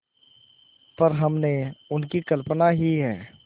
पर हमने उनकी कल्पना ही है